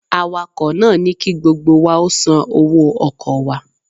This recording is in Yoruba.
Awakọ̀ náà ní ki gbogbo wa ó san owó ọkọ̀ wa